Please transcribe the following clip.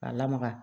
K'a lamaga